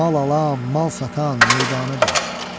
Mal ala, mal satan meydana dönüb.